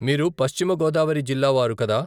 మీరు పశ్చిమ గోదావరి జిల్లా వారు కదా. ?